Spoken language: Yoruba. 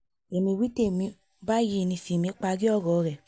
èmi wí tèmi o báyìí ní fímì parí ọ̀rọ̀ rẹ̀